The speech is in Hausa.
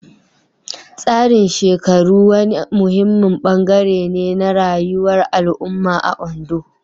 Tsarin shekaru wani muhimmin bangare ne na rayuwar al'umma a Ondo.